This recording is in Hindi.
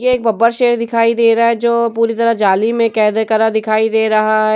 ये एक बब्बर शेर दिखाई दे रहा है जो पूरी तरह जाली में कैद है करा दिखाई दे रहा है।